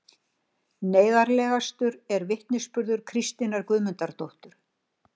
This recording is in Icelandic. Neyðarlegastur er vitnisburður Kristínar Guðmundardóttur